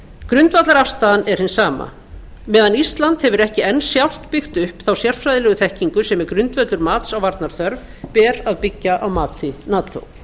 grundvallarafstaðan er hin sama á meðan ísland hefur ekki enn sjálft byggt upp þá sérfræðilegu þekkingu sem er grundvöllur mats á varnarþörf ber að byggja á mati nato